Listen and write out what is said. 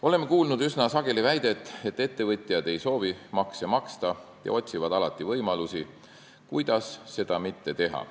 Oleme üsna sageli kuulnud väidet, et ettevõtjad ei soovi makse maksta ja otsivad alati võimalusi, kuidas seda mitte teha.